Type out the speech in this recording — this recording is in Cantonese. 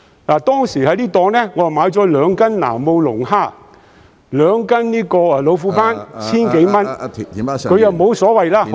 我當時在那個檔口購買了兩斤南澳龍蝦、兩斤老虎斑，合共千多元，他沒所謂......